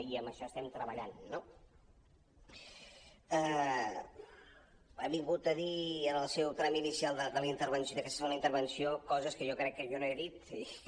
i en això estem tre·ballant no ha vingut a dir en el seu tram inicial d’aquesta segona intervenció coses que jo crec que jo no he dit i que